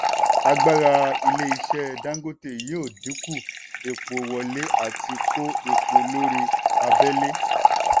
agbára ilé-iṣẹ́ dangote yóò dínkù epo wọlé àti kó epo lórí abẹ́lé.